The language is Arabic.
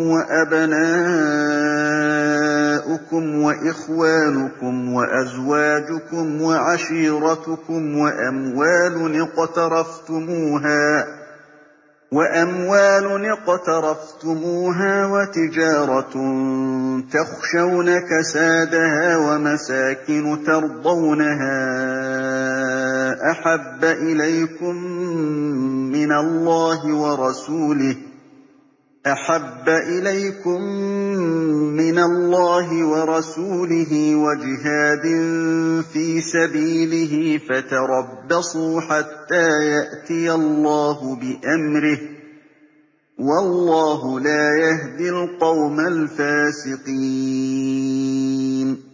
وَأَبْنَاؤُكُمْ وَإِخْوَانُكُمْ وَأَزْوَاجُكُمْ وَعَشِيرَتُكُمْ وَأَمْوَالٌ اقْتَرَفْتُمُوهَا وَتِجَارَةٌ تَخْشَوْنَ كَسَادَهَا وَمَسَاكِنُ تَرْضَوْنَهَا أَحَبَّ إِلَيْكُم مِّنَ اللَّهِ وَرَسُولِهِ وَجِهَادٍ فِي سَبِيلِهِ فَتَرَبَّصُوا حَتَّىٰ يَأْتِيَ اللَّهُ بِأَمْرِهِ ۗ وَاللَّهُ لَا يَهْدِي الْقَوْمَ الْفَاسِقِينَ